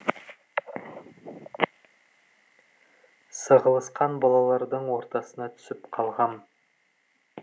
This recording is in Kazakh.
сығылысқан балалардың ортасына түсіп қалғам